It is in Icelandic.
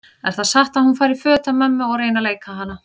Er það satt að hún fari í föt af mömmu og reyni að leika hana?